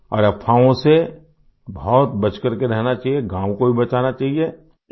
और अफ़वाहों से बहुत बच करके रहना चाहिये गाँव को भी बचाना चाहिये